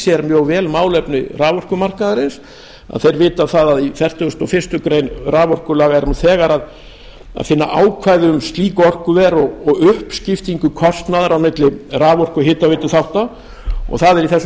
sér mjög vel málefni raforkumarkaðarins vita að í fertugustu og fyrstu greinar raforkulaga er nú þegar að finna ákvæði um slík orkuver og uppskiptingu kostnaðar á milli raforku og hitaveituþátta og það er í þessu frumvarpi